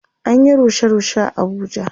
An Yi rushe rushe a Abuja